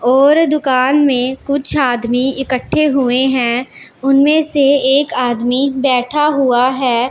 और दुकान में कुछ आदमी इकट्ठे हुए हैं उनमें से एक आदमी बैठा हुआ है।